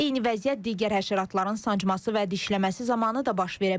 Eyni vəziyyət digər həşəratların sancması və dişləməsi zamanı da baş verə bilər.